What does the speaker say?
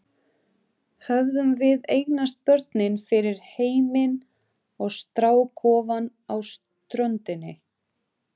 Hefðum við eignast börnin fyrir heiminn og strákofann á ströndinni?